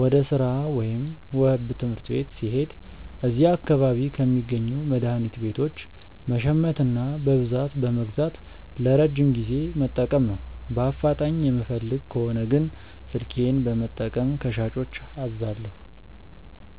ወደ ሥራ ወይም ትምህርት ቤት ስሄድ እዚያ አካባቢ ከሚገኙ መድኃኒት ቤቶች መሸመትና በብዛት በመግዛት ለረጅም ጊዜ መጠቀም ነው። በአፋጣኝ የምፈልግ ከሆነ ግን ስልኬን በመጠቀም ከሻጮች አዛለሁ።